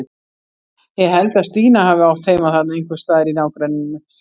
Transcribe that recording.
Ég held að Stína hafi átt heima þarna einhvers staðar í nágrenninu.